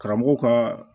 Karamɔgɔw ka